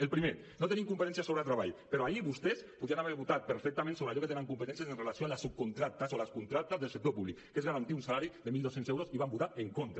el primer no tenim competències sobre treball però ahir vostès podien haver votat perfectament sobre allò que tenen competències amb relació a les subcontractes i les contractes del sector públic que és garantir un salari de mil dos cents euros i hi van votar en contra